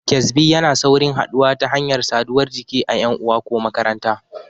Ƙyezbi yana saurin haɗuwa ta hanyar saduwar jiki a ƴan uwa ko makaranta.